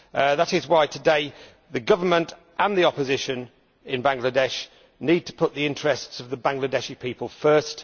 That is why, today, the government and the opposition in Bangladesh need to put the interests of the Bangladeshi people first.